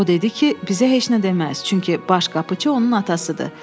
O dedi ki, bizə heç nə deməz, çünki baş qapıçı onun atasıdır.